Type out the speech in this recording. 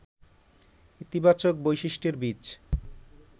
ইতিবাচক বৈশিষ্ট্যের বীজ